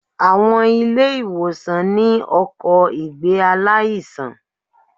Àwọn ilé ìwòsàn ní ọkò ìgbé aláìsàn